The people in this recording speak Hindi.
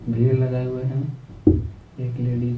भीर लगाए हुए हैं एक लेडी --